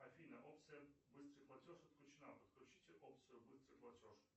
афина опция быстрый платеж отключена подключите опцию быстрый платеж